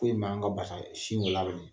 Foyi ma a basa sin de labɛn.